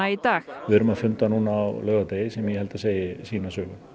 í dag við erum að funda á laugardegi sem ég held að segi sína sögu